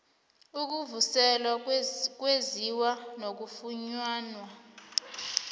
ukuvuselelwa kwenziwa nakufunyanwa